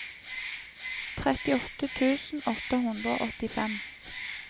trettiåtte tusen åtte hundre og åttifem